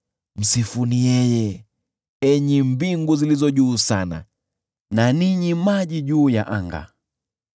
Msifuni yeye, enyi mbingu zilizo juu sana, na ninyi maji juu ya anga.